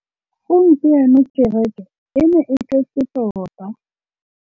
Gompieno kêrêkê e ne e tletse tota.